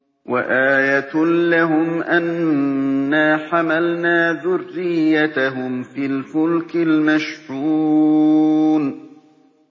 وَآيَةٌ لَّهُمْ أَنَّا حَمَلْنَا ذُرِّيَّتَهُمْ فِي الْفُلْكِ الْمَشْحُونِ